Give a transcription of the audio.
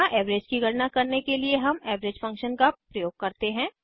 यहाँ एवरेज की गणना करने के लिए हम एवरेज फंक्शन का प्रयोग करते हैं